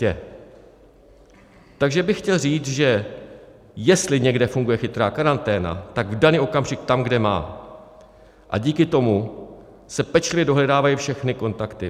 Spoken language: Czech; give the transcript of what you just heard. Takže bych chtěl říct, že jestli někde funguje chytrá karanténa, tak v daný okamžik tam, kde má, a díky tomu se pečlivě dohledávají všechny kontakty.